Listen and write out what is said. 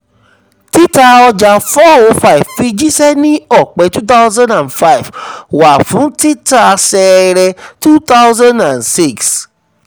tita ọja four oh five fi jíṣẹ́ ni ọpẹ two thousand and five wáyé fun tita ṣẹrẹ two thousand and six.